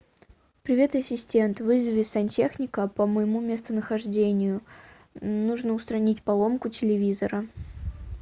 привет ассистент вызови сантехника по моему местонахождению нужно устранить поломку телевизора